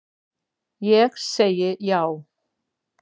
Ég segi já.